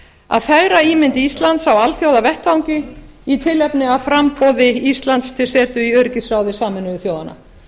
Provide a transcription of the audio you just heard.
að fegra ímynd íslands á alþjóðavettvangi í tilefni af framboði íslands til setu í öryggisráði sameinuðu þjóðanna